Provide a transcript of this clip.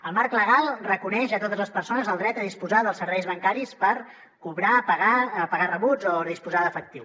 el marc legal reconeix a totes les persones el dret a disposar dels serveis bancaris per cobrar pagar pagar rebuts o disposar d’efectiu